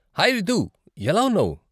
Hi Ritu, ఎలా ఉన్నావు?